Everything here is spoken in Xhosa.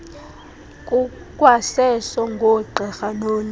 kukwaseso koogqirha noonesi